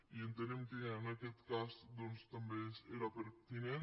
i entenem que en aquest cas doncs també era pertinent